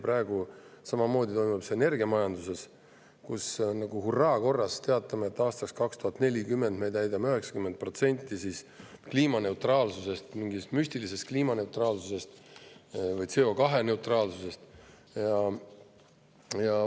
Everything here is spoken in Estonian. Praegu toimub see samamoodi energiamajanduses, kus me nagu hurraakorras teatame, et aastaks 2040 me täidame 90% mingist müstilisest kliimaneutraalsuse või CO2‑neutraalsuse.